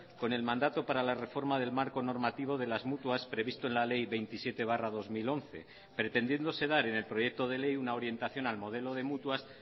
con el mandato para la reforma del marco normativo de las mutuas previsto en la ley veintisiete barra dos mil once pretendiéndose dar en el proyecto de ley una orientación al modelo de mutuas